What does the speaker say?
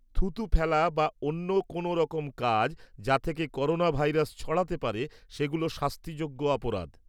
থুতু ফেলা বা অন্য কোনওরকম কাজ, যা থেকে করোনাভাইরাস ছড়াতে পারে সেগুলো শাস্তিযোগ্য অপরাধ।